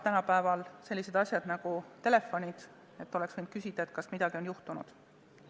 Tänapäeval on olemas sellised asjad nagu telefonid, oleks võinud küsida, kas midagi on juhtunud.